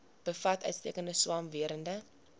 bevat uitstekende swamwerende